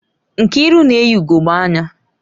Nkiru na eyi ugogbe anya